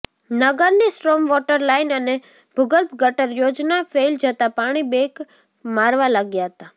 નગરની storm water line અને ભૂગર્ભ ગટર યોજના ફેઇલ જતા પાણી બેક મારવા લાગ્યા હતા